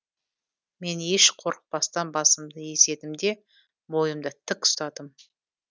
мен еш қорықпастан басымды изедім де бойымды тік ұстадым